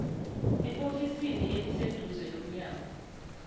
eofisini eliseduze lomnyango